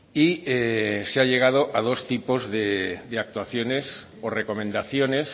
y se ha llegado a dos tipos de actuaciones o recomendaciones